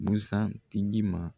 Busan tigi ma.